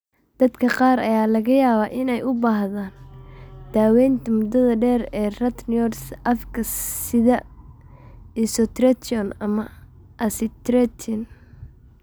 Dadka qaar ayaa laga yaabaa inay u baahdaan daawaynta muddada dheer ee retinoids afka sida isotretinoin ama acitretin.